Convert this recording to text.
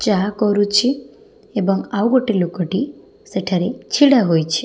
ଚାହା କରୁଛି ଏବଂ ଆଉ ଗୋଟେ ଲୋକଟି ସେଠାରେ ଛିଡ଼ା ହୋଇଛି।